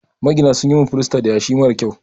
Magina sun min filasta da yashi marar kyau.